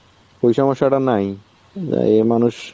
ওই সমস্যাটা নাই. মানুষ